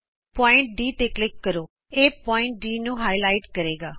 ਬਿੰਦੂ ਡ ਤੇ ਕਲਿਕ ਕਰੋ ਇਹ ਬਿੰਦੂ ਡ ਨੂੰ ਗੂੜਾ ਕਰਕੇ ਉਭਾਰੇਗਾ